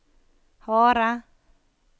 harde